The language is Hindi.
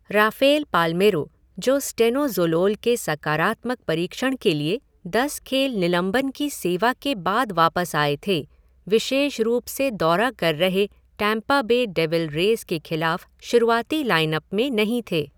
राफ़ेल पाल्मेरो, जो स्टेनोज़ोलोल के सकारात्मक परीक्षण के लिए दस खेल निलंबन की सेवा के बाद वापस आए थे, विशेष रूप से दौरा कर रहे टैम्पा बे डेविल रेज़ के खिलाफ़ शुरुआती लाइन अप में नहीं थे।